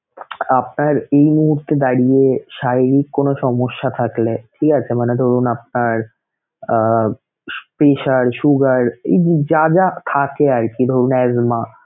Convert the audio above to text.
আপনার এই মুহূর্তে দাঁড়িয়ে শারীরিক কোন সমস্যা থাকলে, ঠিক আছে! মানে ধরুন আপনার pressure, sugar এই যে যা যা থাকে আরকি ধরুন